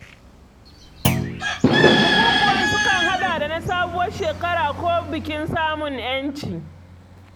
Bukukuwan sukan haɗar da na sabuwar shekara ko bikin samun 'yanci.